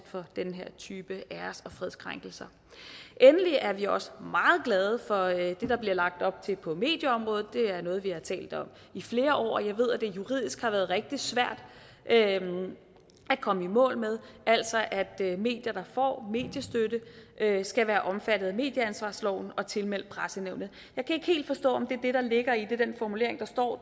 for den her type æres og fredskrænkelser endelig er vi også meget glade for det der bliver lagt op til på medieområdet det er noget vi har talt om i flere år og jeg ved at det juridisk har været rigtig svært at komme i mål med altså at medier der får mediestøtte skal være omfattet af medieansvarsloven og tilmeldt pressenævnet jeg kan ikke helt forstå om det er det der ligger i den formulering der står